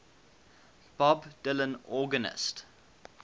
bob dylan organist